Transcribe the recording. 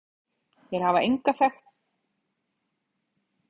Þeir hafa engu þekktu hlutverki að gegna og vekur furðu hve fyrirferðarmiklir þeir eru.